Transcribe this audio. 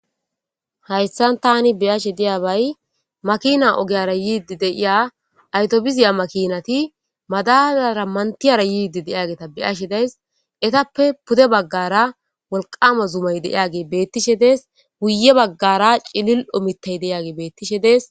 Hayssan tani beyashe diya bay makina ogeyara yiidi deiya aytobiziya makinati madalara mantiyara yiidi deiyageeta beyashe days etappe pude baggara wolqama zumay deiyage beettishe dees guye baggara cilil omitey deiage bettishe dees.